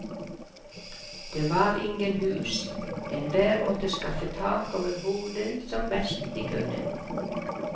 Det var ingen hus, enhver måtte skaffe tak over hodet som best de kunne.